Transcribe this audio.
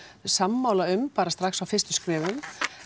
sammála um bara á fyrstu skrefum